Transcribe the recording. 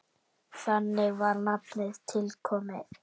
Þannig var nafnið til komið.